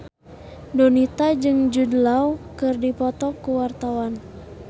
Donita jeung Jude Law keur dipoto ku wartawan